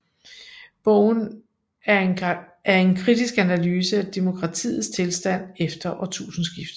Bogen er en kritisk analyse af demokratiets tilstand efter årtusindskiftet